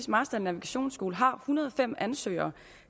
marstal navigationsskole har en hundrede og fem ansøgere